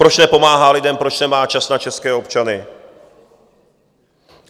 Proč nepomáhá lidem, proč nemá čas na české občany.